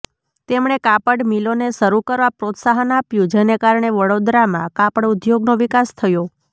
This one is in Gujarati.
તેમણે કાપડ મિલોને શરૂ કરવા પ્રોત્સાહન આપ્યું જેને કારણે વડોદરામાં કાપડ ઉદ્યોગનો વિકાસ થયો